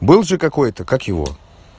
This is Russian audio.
был же какой-то как его